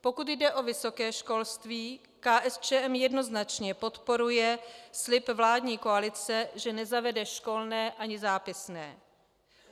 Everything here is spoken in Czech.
Pokud jde o vysoké školství, KSČM jednoznačně podporuje slib vládní koalice, že nezavede školné ani zápisné.